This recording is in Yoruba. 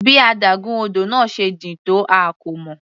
Bí adágún odò náà se jìn tó a kò mọ̀.